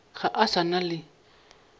ga a sa na le